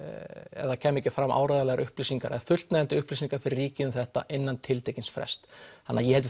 ef það kæmi ekki fram áreiðanlegar upplýsingar eða fullnægjandi upplýsingar fyrir ríkið um þetta innan tiltekins frests þannig ég held að